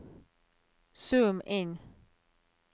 zoom inn